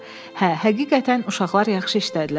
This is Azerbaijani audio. Hə, həqiqətən uşaqlar yaxşı işlədilər.